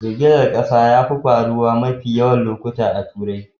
Girgizar kasa yafi faruwa mafiya yawan lokuta a Turai.